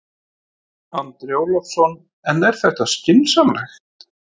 Andri Ólafsson: En er þetta skynsamlegt?